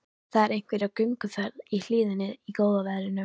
Það eru einhverjir á gönguferð í hlíðinni í góða veðrinu.